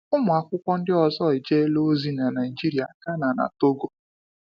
Ụmụ akwụkwọ ndị ọzọ ejela ozi na Nigeria, Ghana, na Togo.